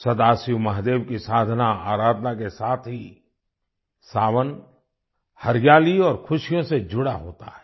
सदाशिव महादेव की साधनाआराधना के साथ ही सावन हरियाली और खुशियों से जुड़ा होता है